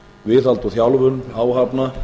viðhald og þjálfun áhafna